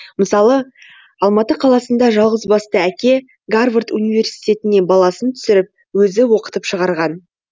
мысалы алматы қаласында жалғызбасты әке гарвард университетіне баласын түсіріп өзі оқытып шығарған